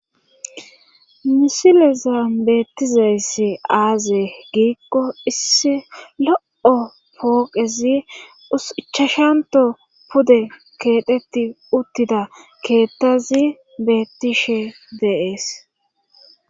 misilezan beettizeyss aazee giikko issi lo7o pooqezi uichashanto pude keedhetti uttida keettazi bettishe de7ees